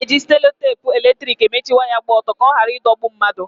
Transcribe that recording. Ana-eji seloteepu eletrik emechi waya gba ọtọ ka ọ ghara ịdọgbu mmadụ.